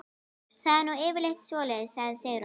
Það er nú yfirleitt svoleiðis, segir Sigrún.